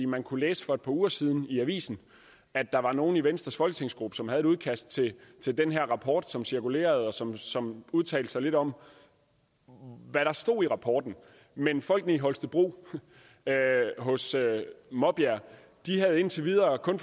man kunne læse for et par uger siden i avisen at der var nogle i venstres folketingsgruppe som havde et udkast til den her rapport som cirkulerede og som som udtalte sig lidt om hvad der stod i rapporten men folkene i holstebro hos maabjerg havde indtil videre kun